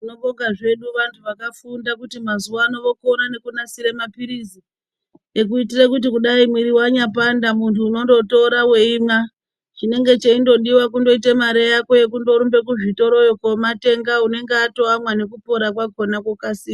Tinobonga zvedu vantu vakafunda kuti mazuva ano vokona kunasire mapirizi ekuitire kuti muwiri wanya panda muntu unenge weindotora weimwa, chinenge cheidiwa kuite mare yako yekundorumbe kuzvitoro iyoo kuno matenga unenge atoamwa nekupora kwakona kukasira.